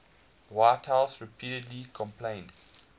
whitehouse repeatedly complained